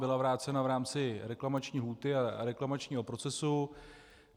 Byla vrácena v rámci reklamační lhůty a reklamačního procesu.